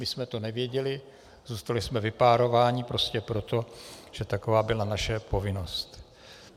My jsme to nevěděli, zůstali jsme vypárováni prostě proto, že taková byla naše povinnost.